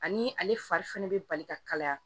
Ani ale fari fɛnɛ bɛ bali ka kalaya